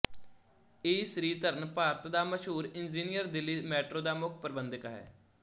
ਈ ਸ੍ਰੀਧਰਨ ਭਾਰਤ ਦਾ ਮਸ਼ਹੂਰ engineer Delhi metro ਦਾ ਮੁੱਖ ਪ੍ਰਬੰਧਕ ਹੈ